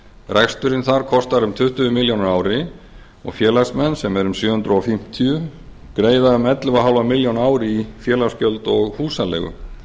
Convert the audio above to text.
reksturinn þar kostar um tuttugu milljónir á ári og félagsmenn þar sem eru um sjö hundruð fimmtíu greiða um ellefu og hálfa milljón á ári í félagsgjöld og húsaleigu